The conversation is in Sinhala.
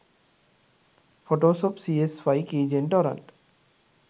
photoshop cs5 keygen torrent